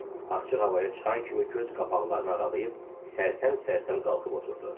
Açıq havaya çıxan kimi göz qapaqlarını aralayıb sərsəm-sərsəm qalxıb oturdu.